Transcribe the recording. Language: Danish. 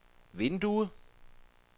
vindue